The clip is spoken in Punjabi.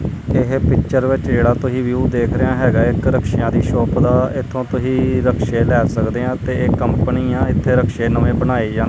ਇਹ ਪਿੱਚਰ ਵਿੱਚ ਜਿਹੜਾ ਤੁਹੀ ਵਿਊ ਦੇਖ ਰਿਹੇ ਹੈਗਾ ਏ ਇੱਕ ਰਕਸ਼ਿਆਂ ਦੀ ਸ਼ੋਪ ਦਾ ਇਥੋਂ ਤੁਹੀ ਰਕਸ਼ੇ ਲੈ ਸਕਦੇ ਆ ਤੇ ਇਹ ਕੰਪਨੀ ਆ ਇੱਥੇ ਰਕਸ਼ੇ ਨਵੇਂ ਬਣਾਏ ਜਾਂਦੇ--